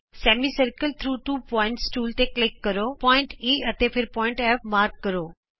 semicircle through two points tool ਤੇ click ਕਰੋ ਬਿੰਦੂ E ਅਤੇ ਫਿਰ F ਚਿੰਨ੍ਹਿਤ ਕਰੋ